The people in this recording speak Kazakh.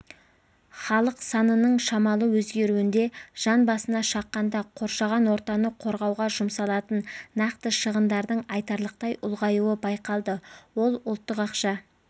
халық санының шамалы өзгеруінде жан басына шаққанда қоршаған ортаны қорғауға жұмсалатын нақты шығындардың айтарлықтай ұлғаюы байқалды ол ұлттық ақша